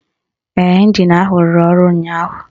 Ee, ịnjin ahụ rụrụ ọrụ ụnyaahụ